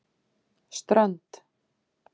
Strönd